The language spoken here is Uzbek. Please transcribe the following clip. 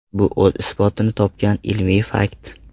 Bu o‘z isbotini topgan ilmiy fakt.